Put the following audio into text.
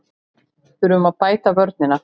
Þurfum að bæta vörnina